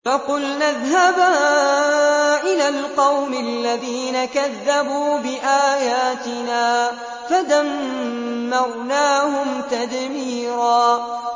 فَقُلْنَا اذْهَبَا إِلَى الْقَوْمِ الَّذِينَ كَذَّبُوا بِآيَاتِنَا فَدَمَّرْنَاهُمْ تَدْمِيرًا